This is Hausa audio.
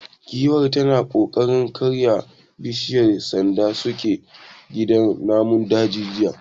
Giwar tana kokarin karya bishiyar sanda suke gidan namun dajin jiya.